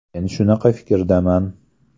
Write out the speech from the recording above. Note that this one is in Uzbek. Men shunaqa fikrdaman.